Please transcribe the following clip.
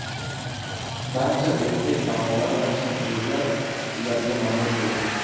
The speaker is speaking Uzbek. Barcha o‘zbek taomlari va shirinliklar ularga manzur bo‘lgan.